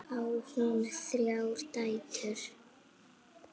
Á hún þrjár dætur.